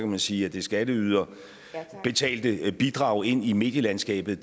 man sige at det skatteyderbetalte bidrag ind i medielandskabet